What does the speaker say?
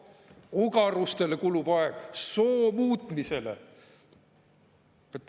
Ogarustele kulub aeg: soo muutmisele!